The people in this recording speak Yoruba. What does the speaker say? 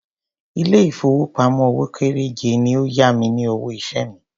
Ilé ìfowópamọ́ òwò kéréje ni ó yá mi ní owó iṣẹ́ mi.